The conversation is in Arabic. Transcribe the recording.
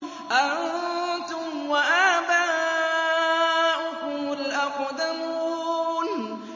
أَنتُمْ وَآبَاؤُكُمُ الْأَقْدَمُونَ